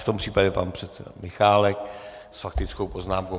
V tom případě pan předseda Michálek s faktickou poznámkou.